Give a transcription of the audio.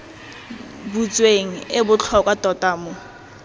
butsweng e botlhokwa tota mo